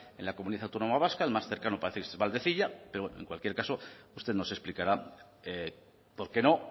en la comunidad autónoma vasca el más cercano parece que es valdecilla pero bueno en cualquier caso usted nos explicará por qué no